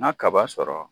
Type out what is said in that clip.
Na kaba sɔrɔ